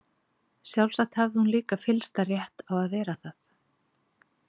Sjálfsagt hafði hún líka fyllsta rétt á að vera það.